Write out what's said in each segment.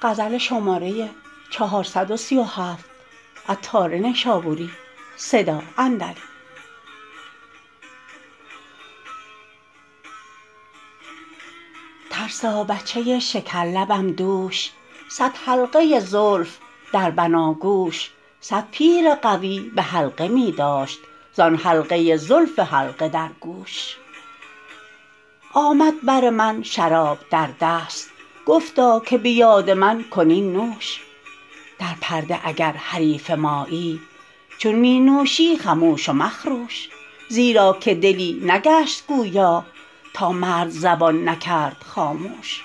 ترسا بچه شکر لبم دوش صد حلقه زلف در بناگوش صد پیر قوی به حلقه می داشت زان حلقه زلف حلقه در گوش آمد بر من شراب در دست گفتا که به یاد من کن این نوش در پرده اگر حریف مایی چون می نوشی خموش و مخروش زیرا که دلی نگشت گویا تا مرد زبان نکرد خاموش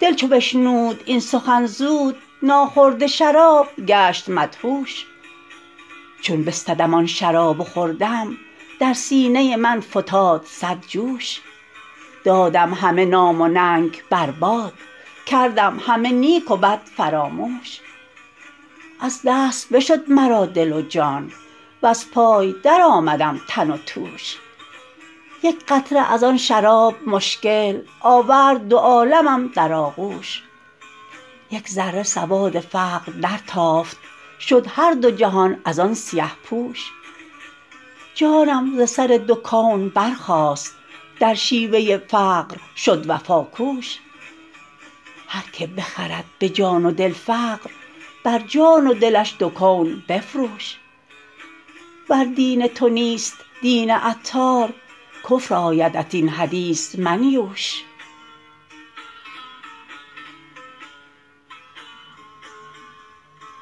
دل چون بشنود این سخن زود ناخورده شراب گشت مدهوش چون بستدم آن شراب و خوردم در سینه من فتاد صد جوش دادم همه نام و ننگ بر باد کردم همه نیک و بد فراموش از دست بشد مرا دل و جان وز پای درآمدم تن و توش یک قطره از آن شراب مشکل آورد دو عالمم در آغوش یک ذره سواد فقر در تافت شد هر دو جهان از آن سیه پوش جانم ز سر دو کون برخاست در شیوه فقر شد وفا کوش هر که بخرد به جان و دل فقر بر جان و دلش دو کون بفروش ور دین تو نیست دین عطار کفر آیدت این حدیث منیوش